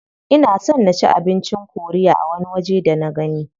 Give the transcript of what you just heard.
Ina son na ci abincin korea a wani waje da nagani.